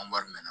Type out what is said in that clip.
An wari mɛn na